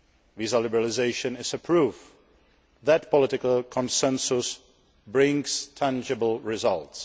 Visa liberalisation is a proof that political consensus brings tangible results.